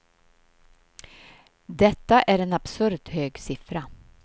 Detta är en absurt hög siffra.